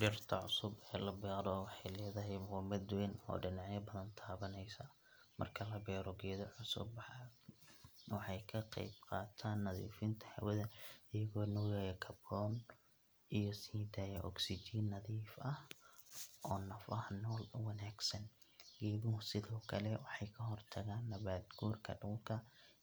Dhirta cusub ee la beero waxay leedahay muhiimad weyn oo dhinacyo badan taabanaysa. Marka la beero geedo cusub, waxay ka qayb qaataan nadiifinta hawada iyagoo nuugaya kaarboon iyo sii daaya ogsijiin nadiif ah oo nafaha nool u wanaagsan. Geeduhu sidoo kale waxay ka hortagaan nabaad guurka dhulka